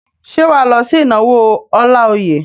Ṣé wà á lọ sí ìnáwó Ọláoyè?